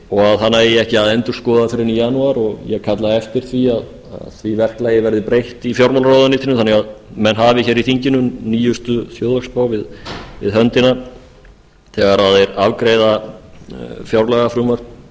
og að hana eigi ekki að endurskoða fyrr en í janúar og ég kalla eftir ári að því verklagi verði breytt í fjármálaráðuneytinu þannig að menn hafi í þinginu nýjustu þjóðhagsspá við höndina þegar þeir afgreiða fjárlagafrumvarp